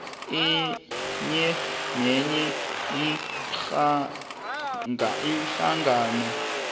enye nenye ihlangano